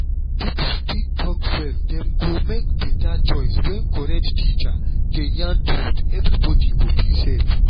if people fit talk well dem go make better choice. when correct teacher dey yarn truth everybody go feel safe.